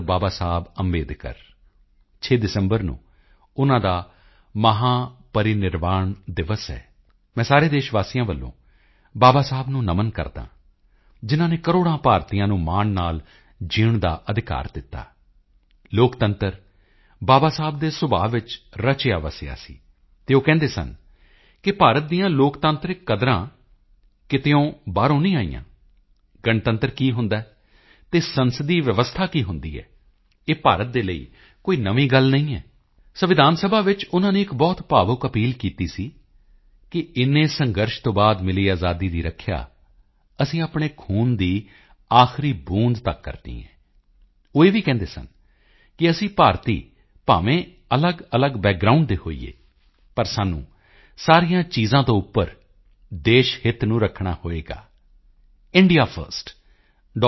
ਬਾਬਾ ਸਾਹਿਬ ਅੰਬੇਡਕਰ 6 ਦਸੰਬਰ ਨੂੰ ਉਨ੍ਹਾਂ ਦਾ ਮਹਾਪਰਿਨਿਰਵਾਣ ਦਿਵਸ ਹੈ ਮੈਂ ਸਾਰੇ ਦੇਸ਼ ਵਾਸੀਆਂ ਵੱਲੋਂ ਬਾਬਾ ਸਾਹਿਬ ਨੂੰ ਨਮਨ ਕਰਦਾ ਹਾਂ ਜਿਨ੍ਹਾਂ ਨੇ ਕਰੋੜਾਂ ਭਾਰਤੀਆਂ ਨੂੰ ਮਾਣ ਨਾਲ ਜੀਣ ਦਾ ਅਧਿਕਾਰ ਦਿੱਤਾ ਲੋਕਤੰਤਰ ਬਾਬਾ ਸਾਹਿਬ ਦੇ ਸੁਭਾਅ ਵਿੱਚ ਰਚਿਆ ਵੱਸਿਆ ਸੀ ਅਤੇ ਉਹ ਕਹਿੰਦੇ ਸਨ ਕਿ ਭਾਰਤ ਦੀਆਂ ਲੋਕਤਾਂਤਰਿਕ ਕਦਰਾਂ ਕੀਮਤਾਂ ਕਿਤੇ ਬਾਹਰੋਂ ਨਹੀਂ ਆਈਆਂ ਹਨ ਗਣਤੰਤਰ ਕੀ ਹੁੰਦਾ ਹੈ ਅਤੇ ਸੰਸਦੀ ਵਿਵਸਥਾ ਕੀ ਹੁੰਦੀ ਹੈ ਇਹ ਭਾਰਤ ਦੇ ਲਈ ਕੋਈ ਨਵੀਂ ਗੱਲ ਨਹੀਂ ਹੈ ਸੰਵਿਧਾਨ ਸਭਾ ਵਿੱਚ ਉਨ੍ਹਾਂ ਨੇ ਇੱਕ ਬਹੁਤ ਭਾਵੁਕ ਅਪੀਲ ਕੀਤੀ ਸੀ ਕਿ ਇੰਨੇ ਸੰਘਰਸ਼ ਤੋਂ ਬਾਅਦ ਮਿਲੀ ਅਜ਼ਾਦੀ ਦੀ ਰੱਖਿਆ ਅਸੀਂ ਆਪਣੇ ਖੂਨ ਦੀ ਆਖ਼ਰੀ ਬੂੰਦ ਤੱਕ ਕਰਨੀ ਹੈ ਉਹ ਇਹ ਵੀ ਕਹਿੰਦੇ ਸਨ ਕਿ ਅਸੀਂ ਭਾਰਤੀ ਭਾਵੇਂ ਅਲੱਗਅਲੱਗ ਬੈਕਗਰਾਉਂਡ ਦੇ ਹੋਈਏ ਪਰ ਸਾਨੂੰ ਸਾਰੀਆਂ ਚੀਜ਼ਾਂ ਤੋਂ ਉੱਪਰ ਦੇਸ਼ਹਿਤ ਨੂੰ ਰੱਖਣਾ ਹੋਵੇਗਾ ਇੰਡੀਆ ਫਰਸਟ ਡਾ